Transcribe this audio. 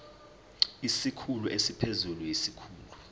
isikhulu esiphezulu siyisikhulu